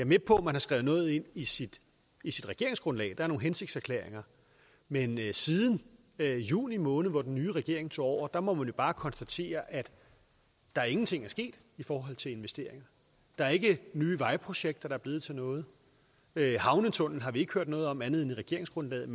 med på at man har skrevet noget ind i sit i sit regeringsgrundlag der er nogle hensigtserklæringer men siden juni måned hvor den nye regering tog over må man jo bare konstatere at der ingenting er sket i forhold til investeringer der er ikke nye vejprojekter der er blevet til noget havnetunnelen har vi ikke hørt noget om andet end i regeringsgrundlaget